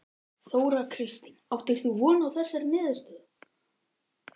Þóra Kristín: Áttir þú von á þessari niðurstöðu?